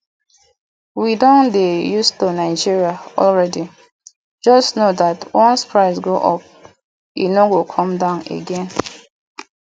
we don dey used to nigeria already just know dat once price go up e no go come down again